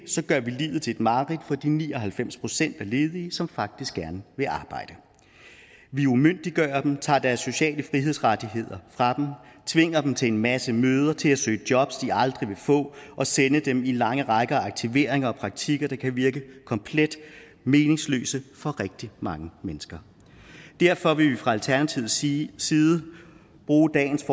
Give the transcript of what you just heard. gør vi livet til et mareridt for de ni og halvfems procent af ledige som faktisk gerne vil arbejde vi umyndiggør dem tager deres sociale frihedsrettigheder fra dem tvinger dem til en masse møder til at søge jobs de aldrig vil få og sender dem i lange rækker af aktivering og praktik der kan virke komplet meningsløse for rigtig mange mennesker derfor vil vi fra alternativets side side bruge dagens